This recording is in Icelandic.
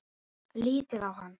Lítið á hann!